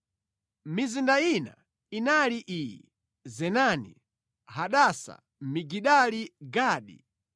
Mizinda ina inali iyi: Zenani, Hadasa, Migidali-Gadi,